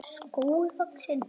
skógi vaxinn.